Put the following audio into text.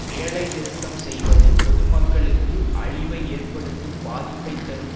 வேலை நிறுத்தம் செய்வது பொதுமக்களுக்கு அழிவை எற்படுத்தும் பாதிப்பைத் தரும்